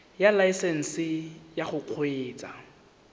ya laesesnse ya go kgweetsa